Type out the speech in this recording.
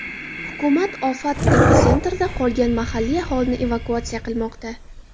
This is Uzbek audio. Hukumat ofat epitsentrida qolgan mahalliy aholini evakuatsiya qilmoqda.